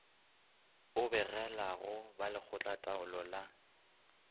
o begelago ba lekgotlataolo la